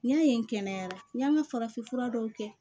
N y'a ye kɛnɛya la n y'an ŋa farafin fura dɔw kɛ